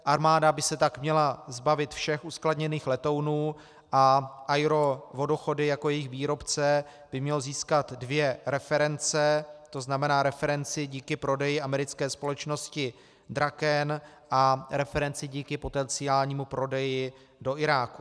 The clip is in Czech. Armáda by se tak měla zbavit všech uskladněných letounů a AERO Vodochody jako jejich výrobce by mělo získat dvě reference, to znamená referenci díky prodeji americké společnosti Draken a referenci díky potenciálnímu prodeji do Iráku.